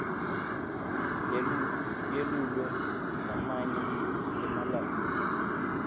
yelulwe lamanye emalanga